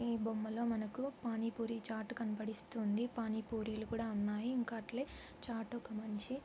ఈ బొమ్మలో మనకు పానీ పూరి చాట్ కనబడిస్తుంది పానీ పూరీలు కూడా ఉన్నాయి ఇంకా అట్లే చాట్ ఒక మనిషి --